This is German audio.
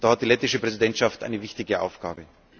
Dabei hat die lettische Präsidentschaft eine wichtige Aufgabe.